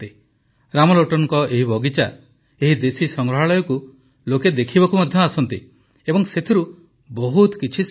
ରାମଲୋଟନଙ୍କ ଏହି ବଗିଚା ଏହି ଦେଶୀ ସଂଗ୍ରହାଳୟକୁ ଲୋକ ଦେଖିବାକୁ ମଧ୍ୟ ଆସନ୍ତି ଏବଂ ସେଥିରୁ ବହୁତ କିଛି ଶିଖନ୍ତି ମଧ୍ୟ